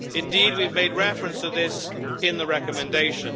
Indeed, we have made reference to this in the recommendation.